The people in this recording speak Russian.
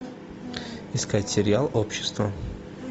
искать сериал общество